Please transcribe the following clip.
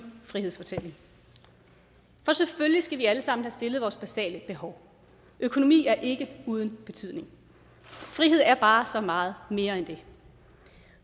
frihedsfortælling selvfølgelig skal vi alle sammen have stillet vores basale behov økonomi er ikke uden betydning frihed er bare så meget mere end det